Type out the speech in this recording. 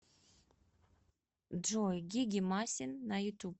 джой гиги масин на ютуб